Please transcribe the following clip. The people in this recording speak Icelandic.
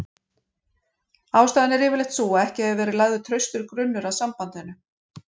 Ástæðan er yfirleitt sú að ekki hefur verið lagður traustur grunnur að sambandinu.